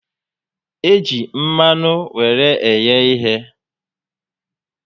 E ji mmanụ were eghe ihe